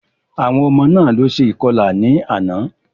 Àwọn ọmọ náà ló ṣe ìkọlà ní àná.